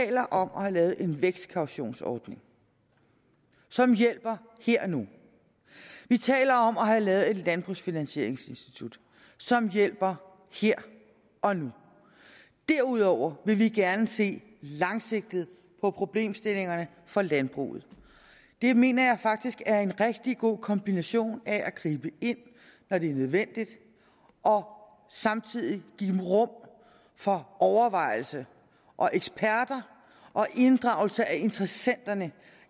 taler om at have lavet en vækstkautionsordning som hjælper her og nu vi taler om at have lavet et landbrugsfinansieringsinstitut som hjælper her og nu derudover vil vi gerne se langsigtet på problemstillingerne for landbruget det mener jeg faktisk er en rigtig god kombination af at gribe ind når det er nødvendigt og samtidig give rum for overvejelse og eksperter og inddragelse af interessenterne